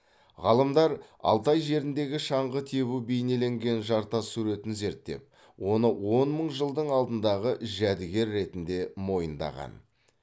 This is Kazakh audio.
ғалымдар алтай жеріндегі шаңғы тебу бейнеленген жартас суретін зерттеп оны он мың жылдың алдындағы жәдігер ретінде мойындаған